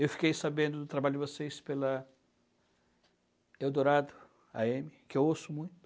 Eu fiquei sabendo do trabalho de vocês pela Eldorado á eme, que eu ouço muito.